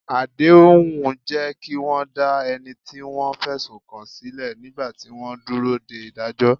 Àdéhùn jẹ́ kí wọ́n dá ẹni tí wọ́n fẹ̀sùn kàn sílẹ̀ nígbà tí wọ́n ń dúró de ìdájọ́.